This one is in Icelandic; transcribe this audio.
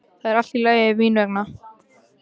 Það er allt í lagi mín vegna.